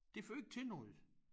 Det fører ikke til noget